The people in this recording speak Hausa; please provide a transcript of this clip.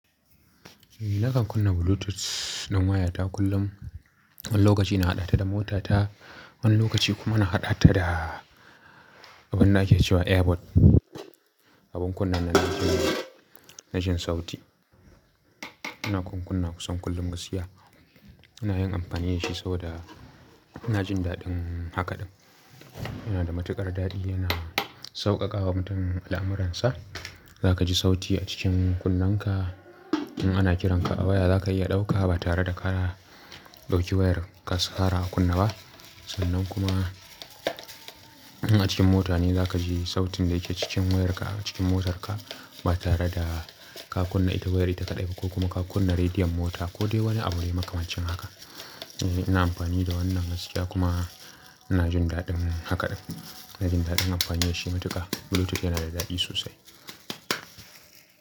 Nakan kunna Bluetooth ɗin wayata kullum. Wani lokaci na haɗa ta da motata, wani lokaci kuma na haɗa ta da abin da ake cewa airpod. Abin kunne nan na jin sauti. Ina kuma kunnawa kusan kullum gaskiya. Ina yin amfani da shi saboda ina jin daɗin haka ɗin. Yana da matuƙar daɗi yana sauƙaƙawa mutum al'amuransa. Za ka ji sauti a cikin kunnenka. In ana kiranka a waya za ka iya ɗauka ba tare da ka ɗauki wayar ka ƙara kunna ba. Sannan kuma in a cikin mota ne za ka ji sautin da yake cikin wayarka a cikin motarka ba tare da ka kunna ita wayar ita kaɗai ko kuma ka kunna rediyon mota ko dai wani abu mai makamancin haka. Ina amfani da wannan gaskiya kuma ina jin daɗin haka ɗin. Ina jin daɗin amfani da shi matuƙa. Bluetooth yana da daɗi sosai.